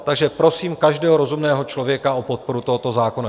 Takže prosím každého rozumného člověka o podporu tohoto zákona.